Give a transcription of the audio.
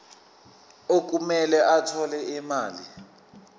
okumele athole imali